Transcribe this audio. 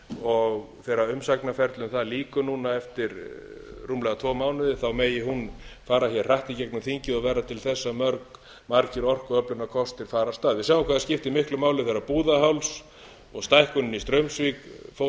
og þegar umsagnaferlum þar lýkur núna eftir rúmlega tvo mánuði megi hún fara hér hratt í gegnum þingið og verða til þess að margir orkuöflunarkostir fari af stað við sáum hvað það skipti miklu máli þegar búðarháls og stækkunin í straumsvík fóru